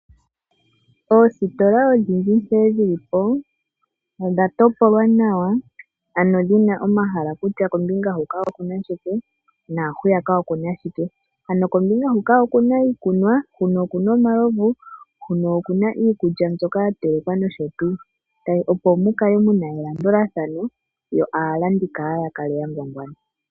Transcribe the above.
Oositola odhindji nkene dhi li po odha topolwa nawa ano omahala kutya kombinga huno okuna shike, kombinga hwiyaka okuna shike. Ano kombinga huka okuna iikunwa, huno okuna omalovu, huno okuna iikulya yatelekwa nosho tuu, opo mu kale muna elandulathano yo aalandi kaaya ngwangwane.